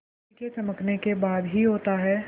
बिजली के चमकने के बाद ही होता है